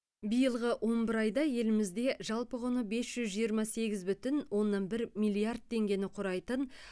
биылғы он бір айда елімізде жалпы құны бес жүз жиырма сегіз бүтін оннан бір миллиард теңгені құрайтын